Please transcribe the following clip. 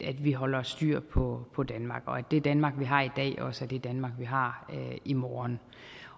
at vi holder styr på på danmark og at det danmark vi har i dag også er det danmark vi har i morgen